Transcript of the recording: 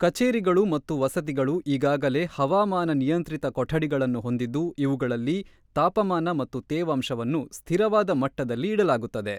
ಕಚೇರಿಗಳು ಮತ್ತು ವಸತಿಗಳು ಈಗಾಗಲೇ ಹವಾಮಾನ-ನಿಯಂತ್ರಿತ ಕೊಠಡಿಗಳನ್ನು ಹೊಂದಿದ್ದು ಇವುಗಳಲ್ಲಿ ತಾಪಮಾನ ಮತ್ತು ತೇವಾಂಶವನ್ನು ಸ್ಥಿರವಾದ ಮಟ್ಟದಲ್ಲಿ ಇಡಲಾಗುತ್ತದೆ.